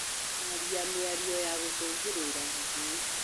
Kwaria mĩario ya gũcugĩra ngũĩ